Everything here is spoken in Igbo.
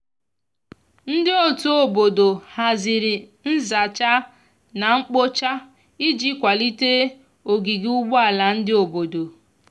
ndi ọtụ obodo hazịrị nza cha na nkpo cha iji kwalite ogige ugbo ala ndi obodo